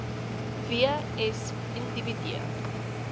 w s individue